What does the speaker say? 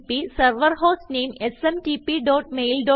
server hostname smtpmailyahooകോം